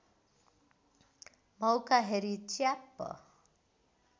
मौका हेरी च्याप्प